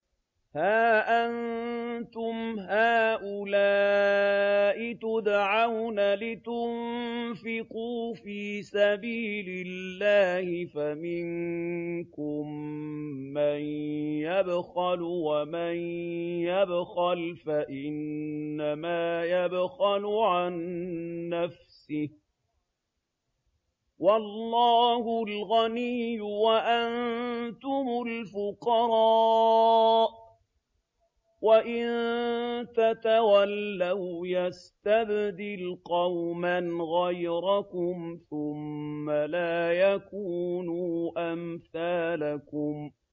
هَا أَنتُمْ هَٰؤُلَاءِ تُدْعَوْنَ لِتُنفِقُوا فِي سَبِيلِ اللَّهِ فَمِنكُم مَّن يَبْخَلُ ۖ وَمَن يَبْخَلْ فَإِنَّمَا يَبْخَلُ عَن نَّفْسِهِ ۚ وَاللَّهُ الْغَنِيُّ وَأَنتُمُ الْفُقَرَاءُ ۚ وَإِن تَتَوَلَّوْا يَسْتَبْدِلْ قَوْمًا غَيْرَكُمْ ثُمَّ لَا يَكُونُوا أَمْثَالَكُم